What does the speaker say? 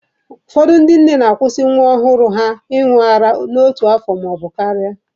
Ụfọdụ ndị nne na-akwusị nwa ọhụrụ ha ịñụ ara n'otu afọ maọbụ karịa.